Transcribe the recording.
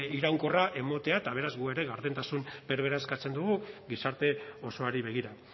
iraunkorra ematea eta beraz gu ere gardentasun berbera eskatzen dugu gizarte osoari begira